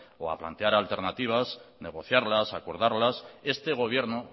o a plantear alternativas negociarlas acordarlas este gobierno